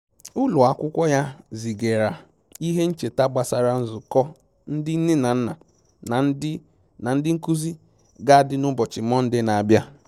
Ụlọ akwụkwọ ya zigara ihe ncheta gbasara nzukọ ndị nne na nna na ndị na ndị nkụzi ga adị na ụbọchị Mọnde na-abia